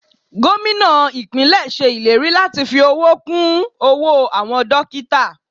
Gómìnà ìpínlè ṣe ìlérí láti fi owó kún owó àwọn dókítà.